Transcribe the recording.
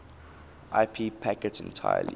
ip packets entirely